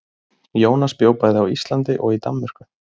Jónas bjó bæði á Íslandi og í Danmörku.